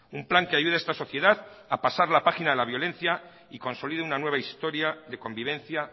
un plan que ayude a esta sociedad a pasar la página de la violencia y consolide una nueva historia de convivencia